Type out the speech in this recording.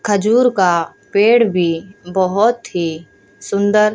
खजूर का पेड़ भी बहुत ही सुंदर--